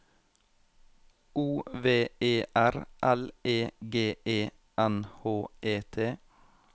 O V E R L E G E N H E T